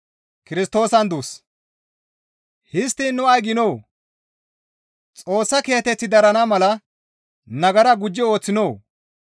Histtiin nu ay giinoo? Xoossa kiyateththi darana mala nagara gujji ooththinoo?